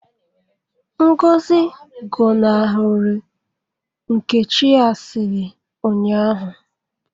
Ngozi gọnahụrụ Nkechi asịrị ụnyahụ